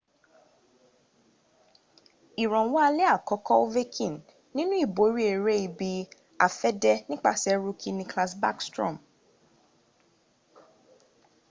ìrànwọ́ alẹ́ àkọ́kọ́ ovechkin nínú ìborí ẹrẹ́ ibi-afẹ́dẹ́ nípasẹ̀ rookie nicklas backstrom